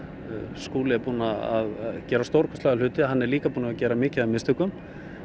Skúli er búinn að gera stórkostlega hluti hann er líka búinn að gera mikið af mistökum